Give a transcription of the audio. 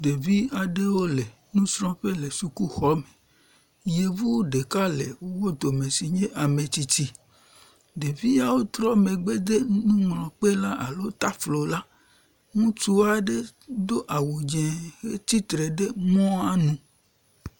Ɖevi aɖewo le nusrɔ̃ƒe le sukuxɔ me. Yevu ɖeka le wo dome si ke nye ame tsitsi. Ɖeviawo trɔ megbe de nuŋlɔkpe alo taflo la. Ŋutsu aɖe do awu dzɛ̃ hetsi tre ɖe mɔa nu.